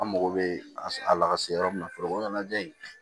An mago bɛ a lase yɔrɔ min na fɔlɔ o ɲɛnajɛ in